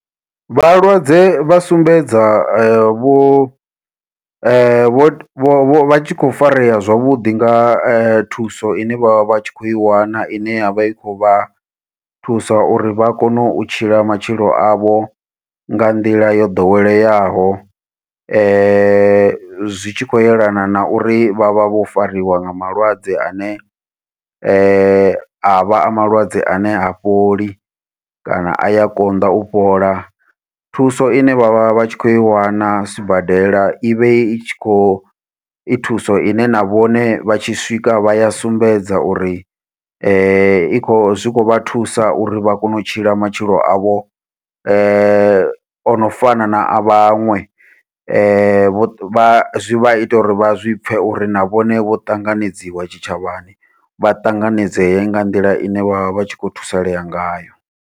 Vhalwadze vha sumbedza vho vho vho vhatshi kho farea zwavhuḓi nga thuso ine vha vha tshi khou i wana ine yavha i khou vha thusa uri vha kone u tshila matshilo avho nga nḓila yo ḓoweleaho, zwi tshi khou yelana na uri vha vha vho fariwa nga malwadze ane avha a malwadze ane ha fholi kana aya konḓa u fhola. Thuso ine vha vha vha tshi kho i wana sibadela ivhe i tshi khou i thuso ine na vhone vha tshi swika vha ya sumbedza uri i kho zwi kho vha thusa uri vha kone u tshila matshilo avho ono fana na a vhaṅwe zwivha ita uri vha zwi pfhe uri na vhone vho ṱanganedziwa tshitshavhani vha tanganedzee nga nḓila ine vha vha vha tshi khou thusalea ngayo.